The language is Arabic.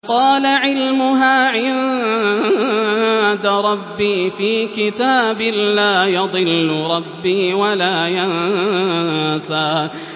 قَالَ عِلْمُهَا عِندَ رَبِّي فِي كِتَابٍ ۖ لَّا يَضِلُّ رَبِّي وَلَا يَنسَى